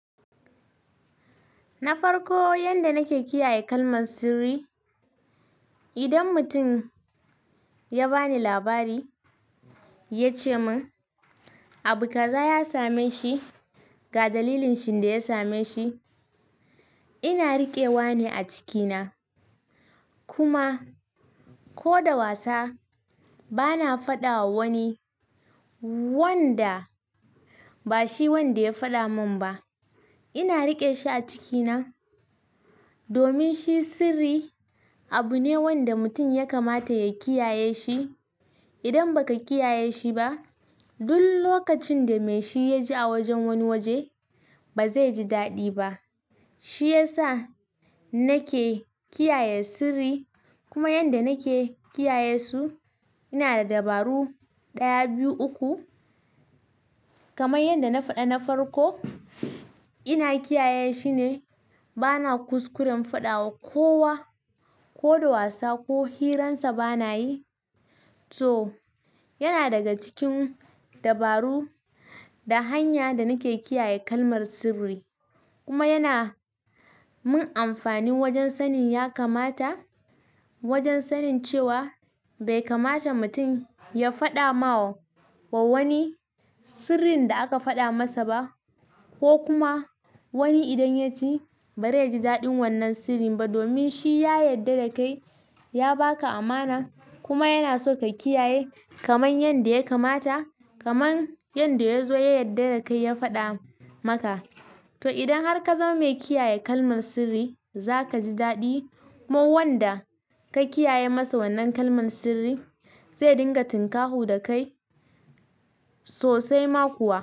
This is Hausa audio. Na farko, yanda nake kiyaye kalmar sirri, idan mutum ya bani labari, ya ce mun abu kaza ya same shi, ga dalilin shinda ya same shi. Ina riƙewa ne a ciki na. Kuma, ko da wasa bana faɗawa wani wanda ba shi wanda ya faɗa mun ba. Ina riƙe shi a cikina domin shi sirri abu ne wanda mutum ya kamata ya kiyaye shi. Idan baka kiyaye shi ba, duk lokacin da mai shi ya ji a wajen wani waje, ba zai ji daɗi ba. Shi ya sa, nake kiyaye sirri. Kuma yanda nake kiyaye su, ina da dabaru ɗaya, biyu, uku kamar yanda na faɗa na farko. Ina kiyaye shi ne bana kuskuren faɗawa kowa ko da wasa ko hiransa bana yi. To, yana daga cikin dabaru da hanya da nake kiyaye kalmar sirri. Kuma yana mun amfani wajen sanin ya kamata wajen sanin cewa bai kamata mutum ya faɗama wani sirrin da aka faɗa masa ba, ko kuma wani idan ya ji bai ji daɗin wannan sirrin ba domin shi ya yarda da kai, ya ba ka amana kuma yana so ka kiyaye kamar yarda ya kamata. Kaman yarda ya zo ya yarɗa da kai ya faɗa maka. To, idan har ka zama mai kiyaye kalmar sirri, za ka ji daɗi. Kuma wanda ka kiyaye masa wannan kalmar sirri zai dinga tinkaho da kai sosai ma kuwa.